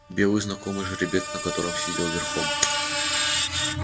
белый знакомый жеребец на котором сидел верхом